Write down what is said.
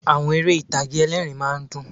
Àwọn eré ìtàgé ẹlẹ́ẹ̀rín rmá a ń dùn